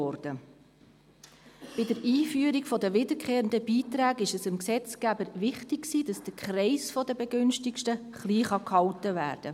Bei der Einführung der wiederkehrenden Beiträge war es dem Gesetzgeber wichtig, dass der Kreis der Begünstigten klein gehalten wird.